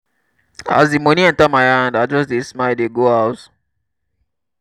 as di moni enta my hand i just dey smile dey go house.